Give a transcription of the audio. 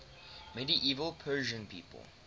medieval persian people